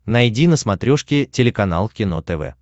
найди на смотрешке телеканал кино тв